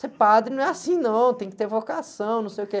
Ser padre não é assim não, tem que ter vocação, não sei o quê.